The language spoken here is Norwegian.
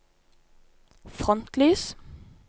frontlys